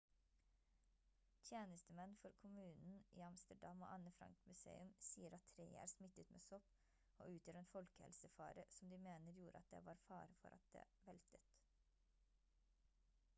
tjenestemenn for kommunen i amsterdam og anne frank museum sier at treet er smittet med sopp og utgjør en folkehelsefare som de mener gjorde at det var fare for at det veltet